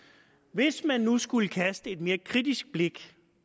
hvis man nu skulle kaste et mere kritisk blik